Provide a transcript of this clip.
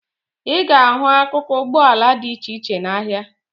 Ị ga-ahụ akụkụ ụgbọala dị iche iche n'ahịa